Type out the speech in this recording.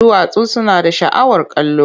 Duwatsu suna da sha'awar kallo.